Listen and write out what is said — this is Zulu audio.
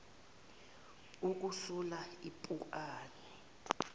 ukusula ipu ani